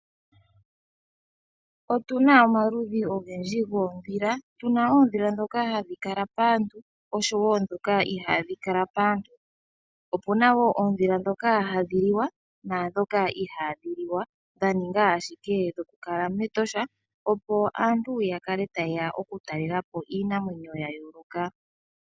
Otuna omaludhi ogendji goondhila tuna oondhila ndhoka hadhi kala paantu noshowo ndhoka ihaadhi kala paantu. Opena woo oondhila ndhoka hadhi liwa naandhoka ihaadhi liwa dhaninga ashike dhokukala mEtosha opo aantu yakale hayeya okutala iinamwenyo yayooloka.